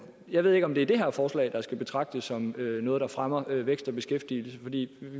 jeg ved ikke om det er det her forslag der skal betragtes som noget der fremmer vækst og beskæftigelse vi